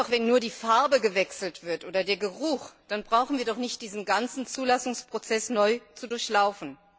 Wenn nur die Farbe gewechselt wird oder nur der Geruch, dann brauchen wir doch nicht diesen ganzen Zulassungsprozess neu zu durchlaufen.